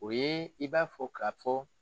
O ye i b'a fɔ ka fɔ